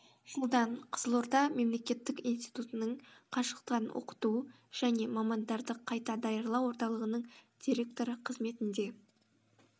жылдан қызылорда мемлекеттік институтінің қашықтан оқыту және мамандарды қайта даярлау орталығының директоры қызметінде